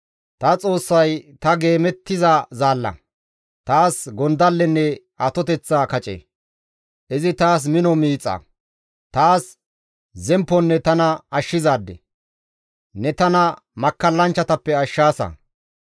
Ta Xoossay ta geemettiza zaalla, taas gondallenne atoteththa kace; izi taas mino miixa; taas zempponne tana ashshizaade; ne tana makkallanchchatappe ashshaasa.